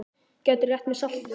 Gætirðu rétt mér saltið?